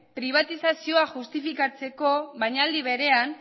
pribatizazioa justifikatzeko baina aldi berean